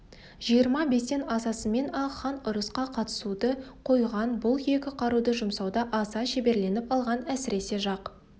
жиырма бестен асысымен-ақ хан ұрысқа қатысуды қойған бұл екі қаруды жұмсауда аса шеберленіп алған әсіресе жақ